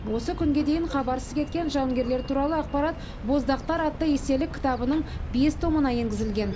осы күнге дейін хабарсыз кеткен жауынгерлер туралы ақпарат боздақтар атты естелік кітабының бес томына енгізілген